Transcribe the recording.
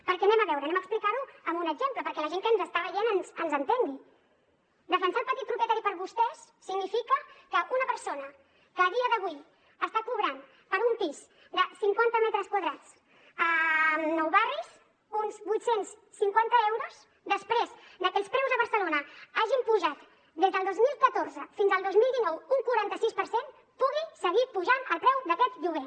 perquè a veure ho explicarem amb un exemple perquè la gent que ens està veient ens entengui defensar el petit propietari per vostès significa que una persona que a dia d’avui està cobrant per un pis de cinquanta metres quadrats a nou barris uns vuit cents i cinquanta euros després de que els preus a barcelona s’hagin apujat des del dos mil catorze fins al dos mil dinou un quaranta sis per cent pugui seguir apujant el preu d’aquest lloguer